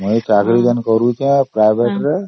ହଁ ମୋର ସବୁବଳେ bank କାମ